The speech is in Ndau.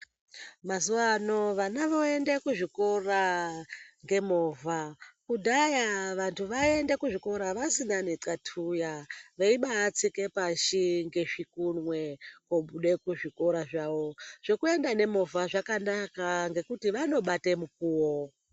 Mazuva ano vana voende kuzvikora ngemovha. Kudhaya vantu vaienda kuzvikora vasina netxatuya veibatsike pashi ngezvikunwe. Vobude kuzvikora zvawo zvekuenda nemovha zvakanaka ngekuti vanobate mukuwo.